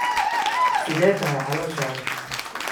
Sidee tahay calooshaada?